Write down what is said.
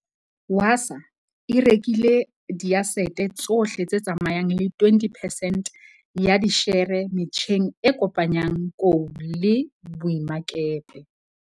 Wasaa e rekile diasete tsohle tse tsamayang le 20 percent ya dishere metjheng e kopanyang kou le boemakepe.